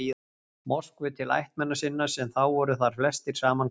Moskvu til ættmenna sinna, sem þá voru þar flestir saman komnir.